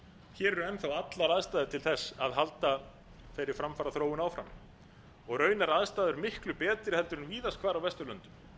hér eru enn þá allar aðstæður til þess að halda þeirri framfaraþróun áfram og raunar aðstæður miklu betri heldur en víðast hvar á vesturlöndum